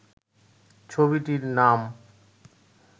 ছবিটির নাম